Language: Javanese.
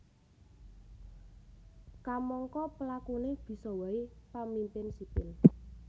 Kamangka pelakuné bisa waé pamimpin sipil